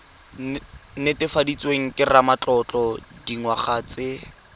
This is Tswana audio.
netefaditsweng ke ramatlotlo dingwaga tse